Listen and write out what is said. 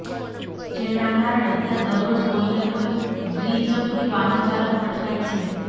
જેના કારણે ત્યાં દરરોજ કોઈ ને કોઈ દ્વિચક્રી વાહનચાલક પટકાય છે